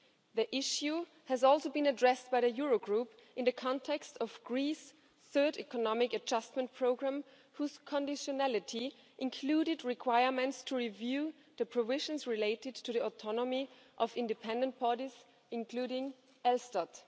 The issue has also been addressed by the Eurogroup in the context of Greece's Third Economic Adjustment Programme, whose conditionality included requirements to review the provisions related to the autonomy of independent parties, including ELSTAT.